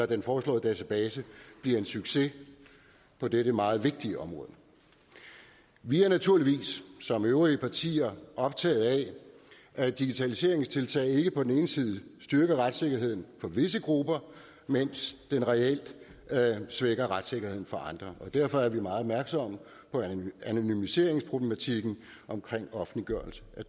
den foreslåede database bliver en succes på dette meget vigtige område vi er naturligvis som øvrige partier optaget af at digitaliseringstiltag ikke på den ene side styrker retssikkerheden for visse grupper mens den reelt svækker retssikkerheden for andre på derfor er vi meget opmærksomme på anonymiseringsproblematikken ved offentliggørelse